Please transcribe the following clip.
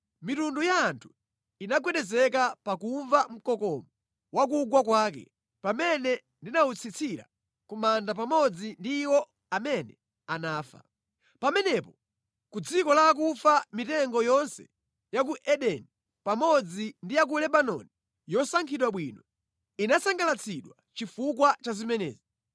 Mitundu ya anthu inagwedezeka pakumva mkokomo wa kugwa kwake, pamene ndinawutsitsira ku manda pamodzi ndi iwo amene anafa. Pamenepo ku dziko la akufa mitengo yonse ya ku Edeni pamodzi ndi ya ku Lebanoni yosankhidwa bwino inasangalatsidwa chifukwa cha zimenezi.